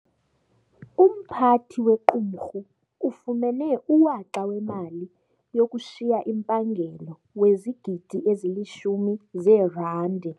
Umphathi wequmrhu ufumene uwaxa wemali yokushiya impangelo wezigidi ezilishumi zeerandi.